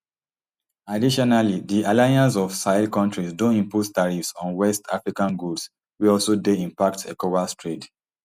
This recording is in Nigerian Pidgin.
additionally di alliance of sahel countries don impose tariffs on west african goods wey also dey impact ecowas trade